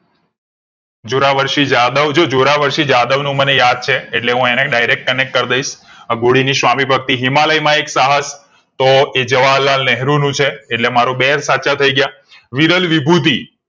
જોરાવર્ષી જાદવ જો જોરાવર્ષી જાદવ નું મને યાદ છે એટલે અને હું direct connect કરી દઈશ હધોડી ની સ્વામીભક્તિ હિમાલય માં એક સાહસ તો એ જવાહરલાલનેહું નું છે એટલે મારા બે સાચા થાય ગયા વિરલ વિભૂતિ